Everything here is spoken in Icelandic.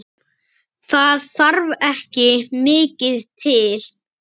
Það þarf ekki mikið til?